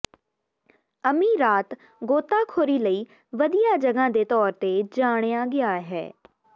ਅਮੀਰਾਤ ਗੋਤਾਖੋਰੀ ਲਈ ਵਧੀਆ ਜਗ੍ਹਾ ਦੇ ਤੌਰ ਤੇ ਜਾਣਿਆ ਗਿਆ ਹੈ